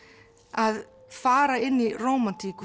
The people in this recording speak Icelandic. að fara inn í rómantík